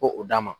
Ko o d'a ma